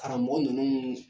Karamɔgɔ ninnu